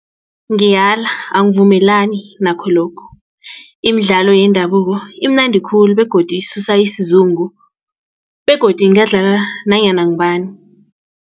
Ngiyala angivumelani nakho lokhu imidlalo yendabuko imnandi khulu begodu isusa isizungu begodu ingadlala nanyana ngubani.